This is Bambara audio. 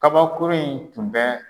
Kabakurun in tun bɛ.